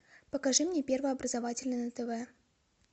покажи мне первый образовательный на тв